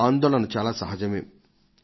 ఎన్నో ప్రభుత్వాలు వచ్చాయి